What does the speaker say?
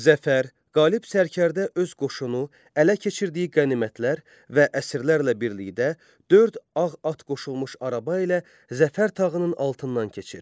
Zəfər, qalib sərkərdə öz qoşunu, ələ keçirdiyi qənimətlər və əsirlərlə birlikdə dörd ağ at qoşulmuş araba ilə Zəfər tağının altından keçir.